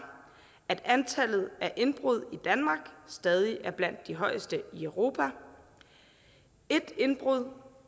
at antallet af indbrud i danmark stadig er blandt de højeste i europa et indbrud